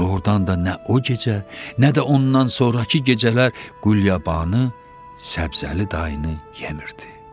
Doğrudan da nə o gecə, nə də ondan sonrakı gecələr Qulyabanı Səbzəli dayını yemirdi.